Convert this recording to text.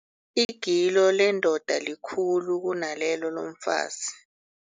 Igilo lendoda likhulu kunalelo lomfazi.